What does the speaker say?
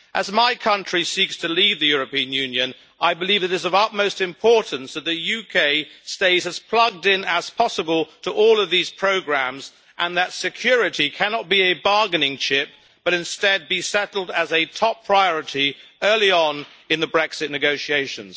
As my country seeks to leave the European Union, I believe it is of utmost importance that the UK stays as plugged-in as possible to all of these programmes, and that security cannot be a bargaining chip but instead be settled as a top priority early on in the Brexit negotiations.